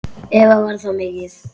Eva: Var það mikið?